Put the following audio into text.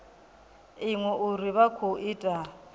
iṅwe uri vha khou ita